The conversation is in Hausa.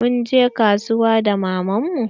Mun je kasuwa da maman mu.